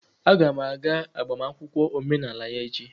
Aga m aga agbamakwụkwọ omenala ya echi.